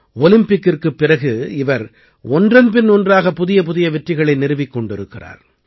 ஒலிம்பிக்கிற்குப் பிறகு இவர் ஒன்றன் பின் ஒன்றாக புதியபுதிய வெற்றிகளை நிறுவிக் கொண்டிருக்கிறார்